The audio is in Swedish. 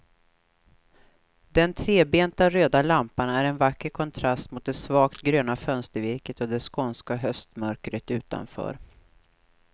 Den trebenta röda lampan är en vacker kontrast mot det svagt gröna fönstervirket och det skånska höstmörkret utanför.